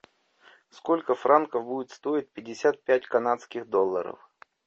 сколько франков будет стоить пятьдесят пять канадских долларов